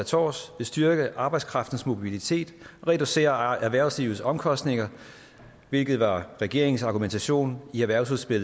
tårs vil styrke arbejdskraftens mobilitet og reducere erhvervslivets omkostninger hvilket var regeringens argumentation i erhvervsudspillet